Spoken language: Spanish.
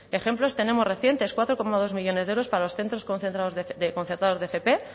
ejemplos tenemos recientes cuatro coma dos millónes de euros para los centros concertados de fp